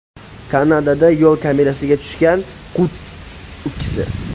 Kanadada yo‘l kamerasiga tushgan qutb ukkisi .